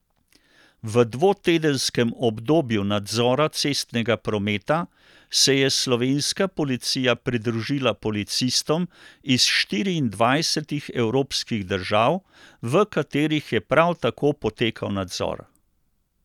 V dvotedenskem obdobju nadzora cestnega prometa se je slovenska policija pridružila policistom iz štiriindvajsetih evropskih držav, v katerih je prav tako potekal nadzor.